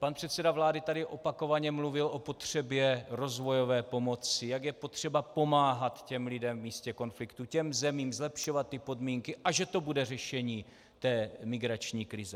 Pan předseda vlády tady opakovaně mluvil o potřebě rozvojové pomoci, jak je potřeba pomáhat těm lidem v místě konfliktu, těm zemím, zlepšovat ty podmínky a že to bude řešení té migrační krize.